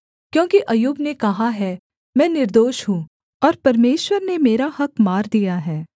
क्योंकि अय्यूब ने कहा है मैं निर्दोष हूँ और परमेश्वर ने मेरा हक़ मार दिया है